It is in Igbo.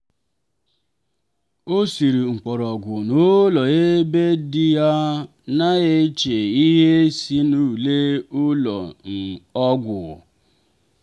o siri mkpọrọgwụ n'ụlọ ebe di ya na-eche ihe si n'ule ụlọ um ọgwụ.